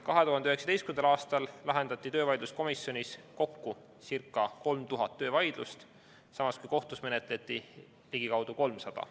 2019. aastal lahendati töövaidluskomisjonis kokku circa 3000 töövaidlust, samas kui kohtus menetleti ligikaudu 300.